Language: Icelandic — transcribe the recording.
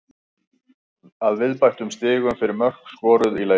Að viðbættum stigum fyrir mörk skoruð í leik.